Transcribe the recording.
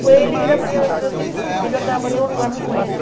Ele era meu meu porque eu andava para todo lugar com eles.